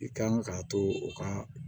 I kan k'a to u ka